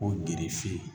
Ko girife